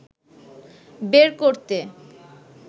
বের করতে